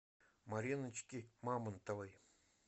мариночки мамонтовой